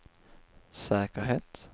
säkerhet